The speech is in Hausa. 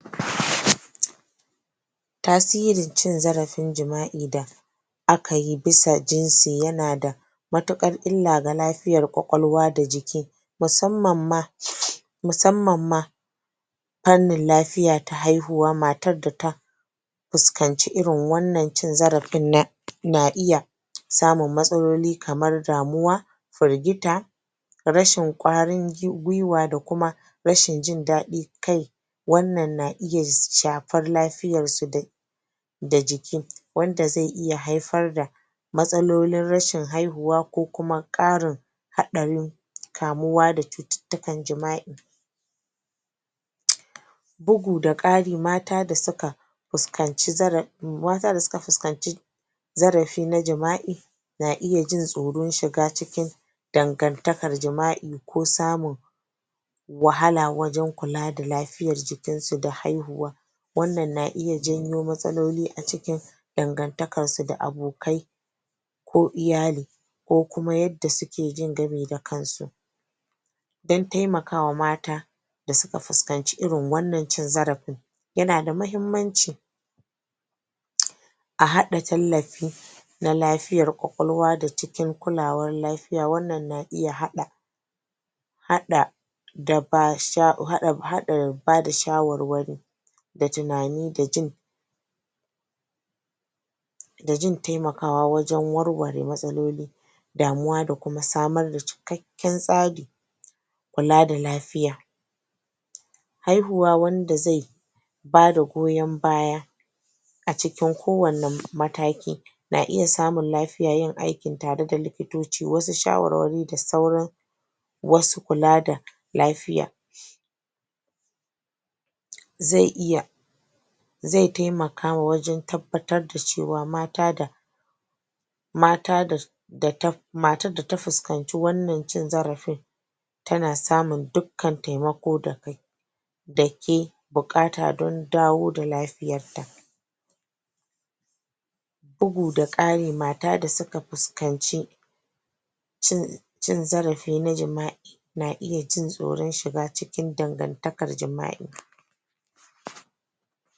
Tasirin cin zarafin jima'i da aka yi bisa jinsi yana da matuƙar illa ga lafiyar ƙwaƙwalwa da jiki. Musamman ma, musamman ma, Fannanin lafiya ta haihuwa, matar da ta fuskanci irin wannan cin zarafin na na iya samun matsaloli kamar damuwa firgita, rashin ƙwarin guiwa da kuma rashin jin daɗi, kai wannan na iya shafar lafiyarsu da da jiki wanda zai iya haifar da matsalolin rashin haihuwa ko kuma ƙarin haɗarin kamuwa da cututtukan jima'i. Bugu da ƙari mata da suka fuskanci zara mata da suka fuskanci zarafi na jima'i na iya jin tsoron shiga cikin dandantakar jima'i ko samun wahala wajen kula da lafiyar jikinsu da haihuwa. Wannan na iya janyo matsaloli a cikin dangantakarsu da abokai, ko iyali. Ko kuma yadda suke jin gami da kansu. Don taimaka wa mata, da suka fuskanci irin wannan cin zarafin, yana da muhimmanci a haɗa tallafi na lafiyar ƙwaƙwalwa da cikin kulawar lafiya, wannan na iya haɗa haɗa haɗa ba da shawarwari da tunani da jin da jin taimakawa wajen warware matsaloli damuwa, da kuma samar da cikakken tsarin kula da lafiya. Haihuwa wanda zai ba da goyon baya a cikin kowanne mataki. Na iya samun lafiyar yin aikin ta re da likitoci, wasu shawarwari da sauran masu kula da lafiya. Zai iya zai taimaka wajen tabbatar da cewa mata da mata da matar da ta fuskanci wannan cin zarafin tana samun dukkan taimako da da ke buƙata don dawo da lafiyarta. Bugu da ƙari, mata da suka fuskanci cin cin zarafi na jima'i na iya jin tsoron shiga cikin dangantakar jima'i.